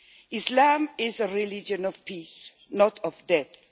Islam is a religion of peace, not of death.